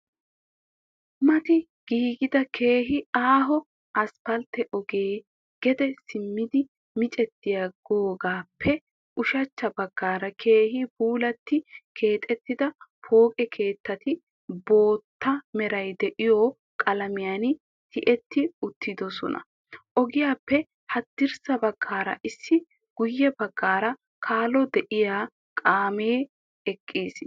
Mati giigida keehi aaho asfaltte ogee gede simmidi micettidaagaaope ushachcha baggaara keehi puulatti keexettida pooqe keettati bootta meray de'iyo qalamiyan tiyetti uttidisina. Ogiyappe haddirssa baggaara issi guye baggay kallo de'iyo kaamee eqqiis.